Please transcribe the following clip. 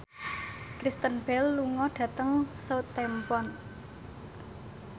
Kristen Bell lunga dhateng Southampton